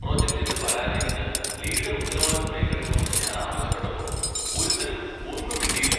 പ്രൊജക്റ്റിന്റെ പരാജയത്തിന് ലീഡർ ഉത്തരവാദിത്തം ഏറ്റെടുക്കണമെന്ന് ഞാൻ ആവശ്യപ്പെട്ടപ്പോൾ ഒരുത്തനും ഒന്നും മിണ്ടിയില്ല.